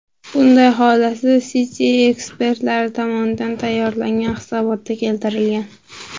Bunday xulosa Citi ekspertlari tomonidan tayyorlangan hisobotda keltirilgan .